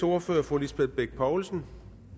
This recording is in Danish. ordfører fru lisbeth bech poulsen